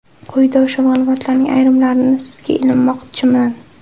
Quyida o‘sha ma’lumotlarning ayrimlarini sizga ilinmoqchiman.